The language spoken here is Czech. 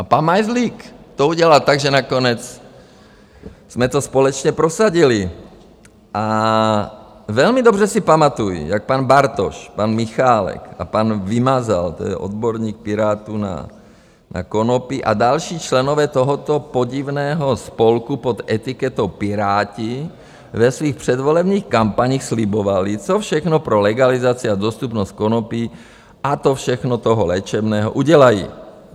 A pan Majzlík to udělal tak, že nakonec jsme to společně prosadili a velmi dobře si pamatuji, jak pan Bartoš, pan Michálek a pan Vymazal, to je odborník Pirátů na konopí, a další členové tohoto podivného spolku pod etiketou Piráti ve svých předvolebních kampaních slibovali, co všechno pro legalizaci a dostupnost konopí, a to všechno toho léčebného, udělají.